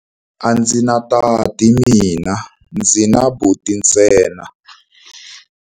A ndzi na tati mina, ndzi na buti ntsena.